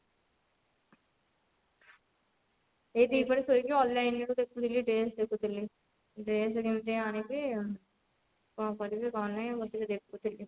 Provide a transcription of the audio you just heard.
ଏଇ ଦି ପହରେ ଶୋଇକି online ରେ ଦେଖୁଥିଲି dress ଦେଖୁଥିଲି dress କେମିତି ଆଣିବି କଣ କରିବି କଣ ନାଇଁ ବସିକି ଦେଖୁଥିଲି।